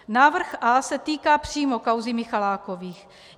Návrh A se týká přímo kauzy Michalákových.